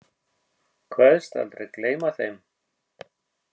Kveðst aldrei gleyma þeim.